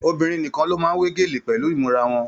Obìnrin nìkàn ló máa n we gélé pẹlú imura wọn.